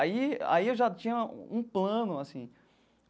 Aí aí eu já tinha um plano assim.